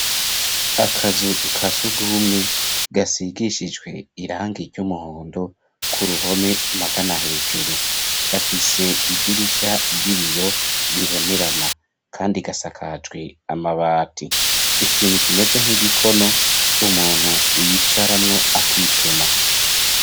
Akazu ka surwumwe, gasigishijwe irangi ry'umuhondo, ku ruhome, magana hejuru; gafise idirisha ry'ibiyo, bibonerana, kandi gasakajwe amabati; ikintu kimeze nk'igikono, umuntu yicaramwo, akituma.